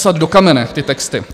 Vytesat do kamene ty texty!